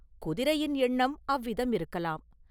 “குதிரையின் எண்ணம் அவ்விதம் இருக்கலாம்.